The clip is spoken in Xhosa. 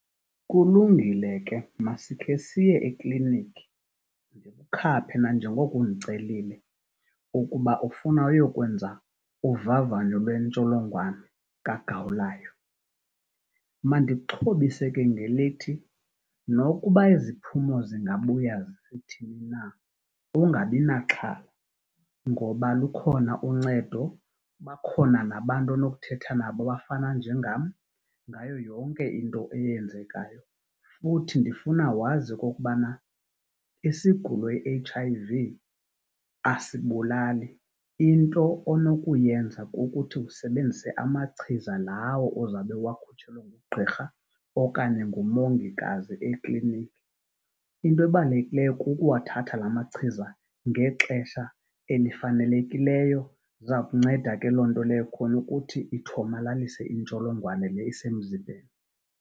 Kulungile ke masike siye ekliniki ndikukhaphe nanjengoko undicelile ukuba ufuna uyokwenza uvavanyo lwentsholongwane kagawulayo. Mandikuxhobise ke ngelithi, nokuba iziphumo zingabuya zisithini na ungabi naxhala ngoba lukhona uncedo, bakhona nabantu onothetha nabo abafana njengam ngayo yonke into eyenzekayo. Futhi ndifuna wazi okokubana isigulo i-H_I_V asibulali, into onokuyenza kukuthi usebenzise amachiza lawo ozawube uwakhutshelwe ngugqirha okanye ngumongikazi ekliniki. Into ebalulekileyo kukuwathatha la machiza ngexesha elifanelekileyo, iza kunceda ke loo nto leyo khona ukuthi ithomalalise intsholongwane le isemzibeni.